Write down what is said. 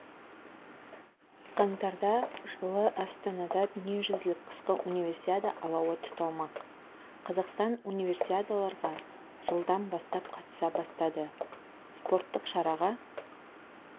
қаңтарда жылы астанада дүниежүзілік қысқы универсиада алауы тұталмақ қазақстан унивесиадаларға жылдан бастап қатыса бастады спорттық шараға